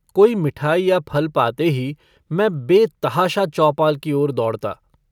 कोई मिठाई या फल पाते ही मैं बेतहाशा चौपाल की ओर दौड़ता।